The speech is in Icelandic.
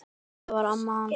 Þetta var amma hans